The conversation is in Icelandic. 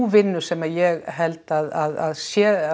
vinnu sem ég held að sé